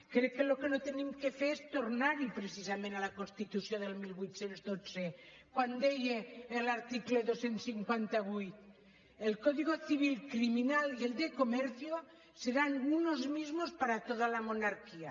crec que el que no hem de fer és tornar hi precisament a la constitució del divuit deu dos quan deia a l’article dos cents i cinquanta vuit el código civil criminal y el de comercio serán unos mismos para toda la monarquía